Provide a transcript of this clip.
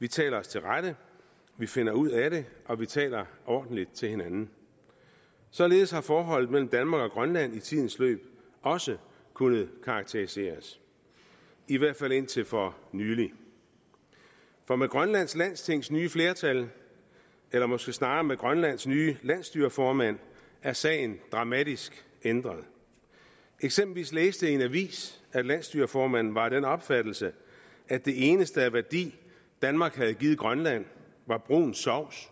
vi taler os til rette vi finder ud af det og vi taler ordentligt til hinanden således har forholdet mellem danmark og grønland i tidens løb også kunnet karakteriseres i hvert fald indtil for nylig for med grønlands landstings nye flertal eller måske snarere med grønlands nye landsstyreformand er sagen dramatisk ændret eksempelvis læste jeg i en avis at landsstyreformanden var af den opfattelse at det eneste af værdi danmark havde givet grønland var brun sovs